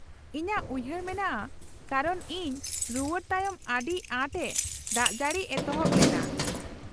-ᱤᱧᱟᱹᱜ ᱩᱭᱦᱟᱹᱨ ᱢᱮᱱᱟᱜᱼᱟ ᱠᱟᱨᱚᱱ ᱤᱧ ᱨᱩᱣᱟᱹᱲ ᱛᱟᱭᱚᱢ ᱟᱹᱰᱤᱟᱸᱴ ᱮ ᱫᱟᱜᱡᱟᱹᱲᱤ ᱮᱛᱚᱦᱚᱵ ᱞᱮᱱᱟ ᱾